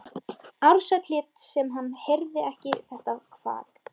Ársæll lét sem hann heyrði ekki þetta kvak.